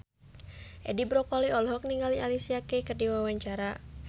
Edi Brokoli olohok ningali Alicia Keys keur diwawancara